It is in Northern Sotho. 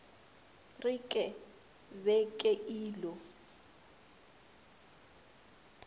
re ke be ke ilo